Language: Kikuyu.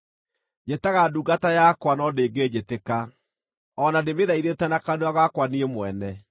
Njĩtaga ndungata yakwa, no ndĩngĩnjĩtĩka, o na ndĩmĩthaithĩte na kanua gakwa niĩ mwene.